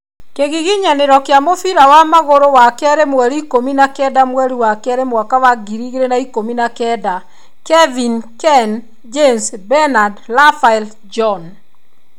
Kĩgiginyanĩro kĩa mũbira wa magũrũ wakerĩ mweri ikũmi na kenda mweri wa kerĩ mwaka wa ngiri igĩrĩ na ikũmi na kenda: Kevin, Ken, James, Benard, Raphael, John